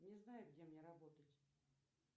не знаю где мне работать